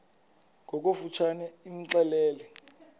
ngokofu tshane imxelele